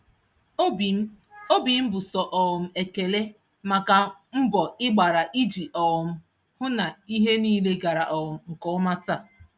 Obi m Obi m bụ sọ um ekele maka mbọ ị gbara iji um hụ na ihe niile gara um nke ọma taa.